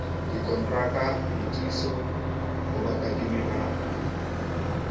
dikontraka ditiiso ho bakadimi ba